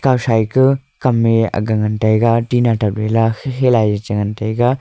ashai ke kam e aga ngan taiga tina te gala khi khi lai cha ngan taiga.